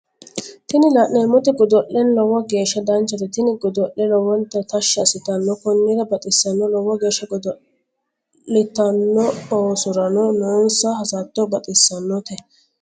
Tini la'neemmoti goddo'le lowo geesha danchate tini goddo'le lowonta tashshi assittanno konnira baxissanno lowo geesha godo'dolitanno oosorano noonsa hassatto baxissanote